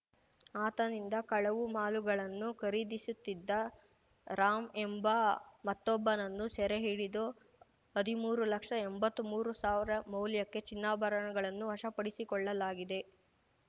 ಆತನಿಂದ ಕಳವು ಮಾಲುಗಳನ್ನು ಖರೀದಿಸುತ್ತಿದ್ದ ರಾಂ ಎಂಬ ಮತ್ತೊಬ್ಬನನ್ನು ಸೆರೆ ಹಿಡಿದು ಹದಿಮೂರು ಲಕ್ಷಎಂಬತ್ಮೂರುಸಾವಿರ ಮೌಲ್ಯಕ್ಕೆ ಚಿನ್ನಾಭರಣಗಳನ್ನು ವಶಪಡಿಸಿಕೊಳ್ಳಲಾಗಿದೆ